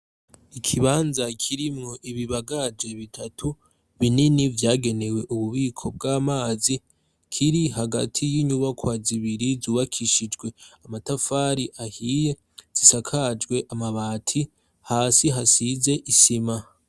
Ikibanza kirimwo ibibagaje bitatu binini vyagenewe ububiko bw'amazi kiri hagati y'inyubakwa zibiri zubakishijwe amatafari ahiye zisakajwe amabati, hasi hasize isima.